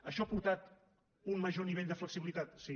això ha aportat un major nivell de flexibilitat sí